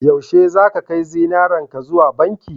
yaushe zaka kai zinarenka zuwa banki